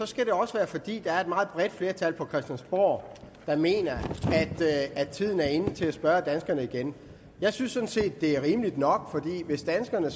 skal det også være fordi der er et meget bredt flertal på christiansborg der mener at tiden er inde til at spørge danskerne igen jeg synes sådan set det er rimeligt nok for hvis danskerne